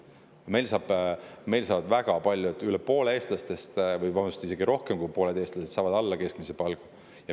Meil saavad väga paljud, üle poole eestlastest, vabandust, isegi rohkem kui pooled eestlased alla keskmise palga.